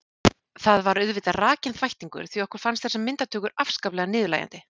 Það var auðvitað rakinn þvættingur því okkur fannst þessar myndatökur afskaplega niðurlægjandi.